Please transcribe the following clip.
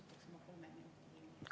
Ma küsiksin kolm minutit juurde.